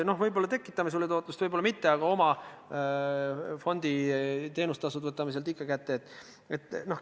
No võib-olla tekitame sulle tootlust, võib-olla ei tekita mitte, aga fondi teenustasud võtame ikka.